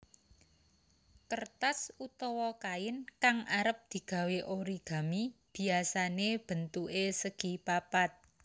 Kertas utawa kain kang arep digawé origami biyasane bentuke segipapat